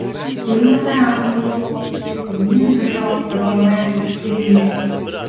беймаза рақым іздеп текке күннен бір жауап таба алмай ақ өткенінен